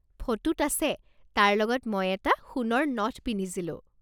ফটোত আছে, তাৰ লগত মই এটা সোণৰ নথ পিন্ধিছিলোঁ।